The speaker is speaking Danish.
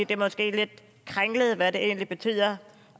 det måske er lidt kringlet hvad det egentlig betyder